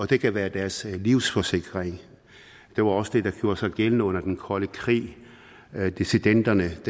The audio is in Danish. det kan være deres livsforsikring det var også det der gjorde sig gældende under den kolde krig dissidenternes